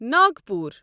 Nagpur